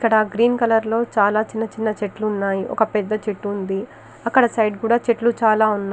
ఇక్కడ green colour లో చిన్న చిన్న చెట్లు ఉన్నాయి ఒక పెద్ద చెట్టు ఉంది అక్కడ సైడ్ కూడా చాల చెట్లు ఉన్నాయి.